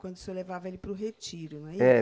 Quando o senhor levava ele para o retiro, não é isso?